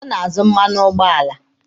Ọ na-azụ mmanụ ụgbọala.